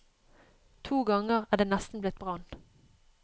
To ganger er det nesten blitt brann.